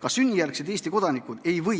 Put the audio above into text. Ka sünnijärgsed Eesti kodanikud ei või